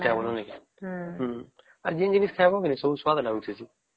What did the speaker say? ଆଉ ଜିନ ଜିନିଷ ଖାଇବା କେ ନାଇଁ ସବୁ ସ୍ୱାଦ ଲାଗୁଛେ